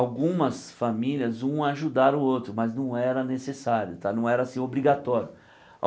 Algumas famílias, umas ajudaram outras, mas não era necessário, tá não era assim obrigatório.